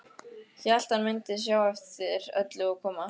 Hélt hann mundi sjá eftir öllu og koma aftur.